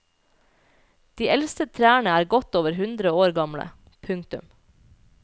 De eldste trærne er godt over hundre år gamle. punktum